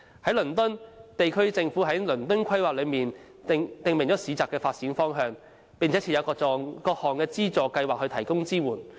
在倫敦，地區政府在《倫敦規劃》中訂明市集的發展方向，並設有各項資助計劃以提供支援。